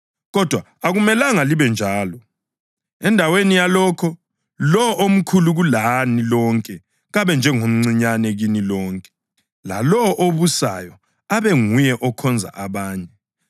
Kodwa akumelanga libe njalo. Endaweni yalokho, lowo omkhulu kulani lonke kabe njengomncinyane kini lonke, lalowo obusayo abe nguye okhonza abanye.